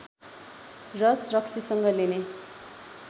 रस रक्सीसँग लेने